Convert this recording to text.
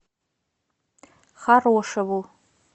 хорошеву